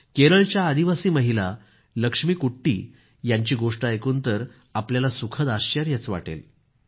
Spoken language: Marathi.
केरळच्या आदिवासी महिला लक्ष्मीकुट्टी यांची गोष्ट ऐकून तर आपल्याला सुखद आश्चर्य वाटेल